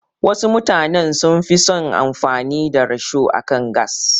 Wasu mutanen sun fi son amfani da risho akan gas.